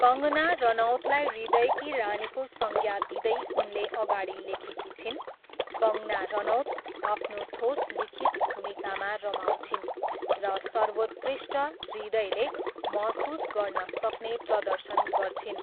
कङ्गना रनौतलाई हृदयकी रानीको संज्ञा दिँदै उनले अगाडि लेखेकी छिन्, कङ्गना रनौत आफ्नो ठोस लिखित भूमिकामा रमाउँछिन्, र सर्वोत्कृष्ट, हृदयले महसुस गर्न सक्ने प्रदर्शन गर्छिन्।